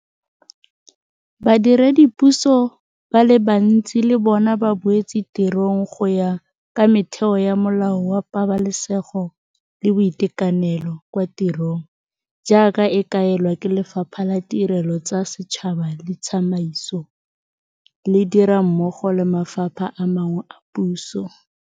Badiredipuso ba le bantsi le bona ba boetse tirong go ya ka metheo ya Molao wa Pabalesego le Boitekanelo kwa Tirong jaaka e kaelwa ke Lefapha la Tirelo tsa Setšhaba le Tsamaiso, le dira mmogo le mafapha a mangwe a puso.